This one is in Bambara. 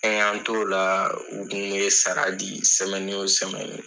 An y'an t'o la o kun saga di o